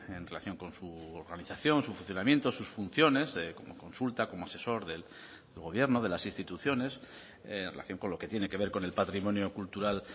en relación con su organización su funcionamiento sus funciones como consulta como asesor del gobierno de las instituciones en relación con lo que tiene que ver con el patrimonio cultural